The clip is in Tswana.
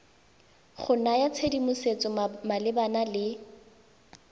go naya tshedimosetso malebana le